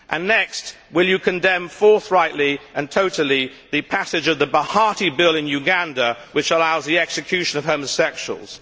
Iraq? Next, will you condemn forthrightly and totally the passage of the Bahati bill in Uganda, which allows the execution of homosexuals?